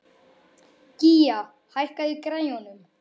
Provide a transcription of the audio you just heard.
Gía, hækkaðu í græjunum.